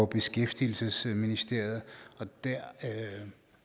beskæftigelsesministeriet